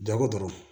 Jago dɔrɔn